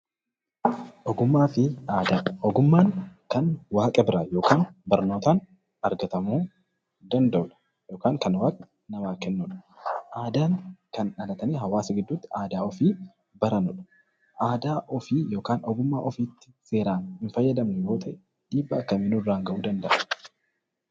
Ogummaan kan waaqa biraa yookaan barnootaan argatamuu danda'udha yookaan kan waaqni namaaf kennudha. Aadaan kan dhalatanii hawaasa gidduutti aadaa ofii baranidha. Aadaa ofii yookaan ogummaa ofiitti seeraan hin fayyadamnu yoo ta'e, dhiibbaa akkamii nurraan gahuu danda'a?